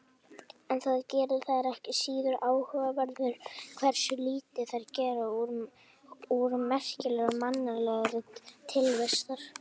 En það gerir þær ekki síður áhugaverðar hversu lítið þær gera úr merkingu mannlegrar tilvistar.